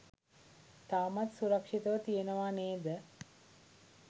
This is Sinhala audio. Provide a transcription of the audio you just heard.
තවමත් සුරක්‍ෂිතව තියෙනවා නේද?